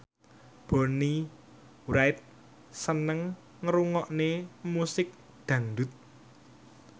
Bonnie Wright seneng ngrungokne musik dangdut